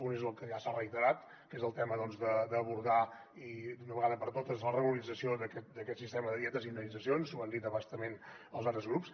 un és el que ja s’ha reiterat que és el tema d’abordar d’una vegada per totes la regularització d’aquest sistema de dietes i indemnitzacions ho han dit a bastament els altres grups